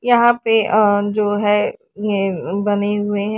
यहां पे अ जो है ये हैं बने हुए हैं।